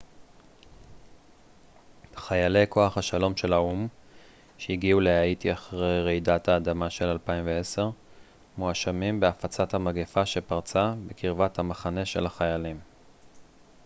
חיילי כוח השלום של האו ם שהגיעו להאיטי אחרי רעידת האדמה של 2010 מואשמים בהפצת המגפה שפרצה בקרבת המחנה של החיילים